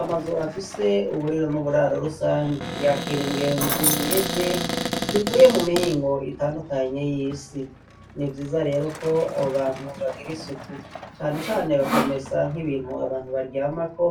Amazu afise uburiro n'uburaro rusange yakira ingenzi nyinshi zivuye mu mihingo itandukanye y'isi. Ni vyiza rero ko abo bantu bagira isuku, cane cane bakamesa nk'ibintu abantu baryamako,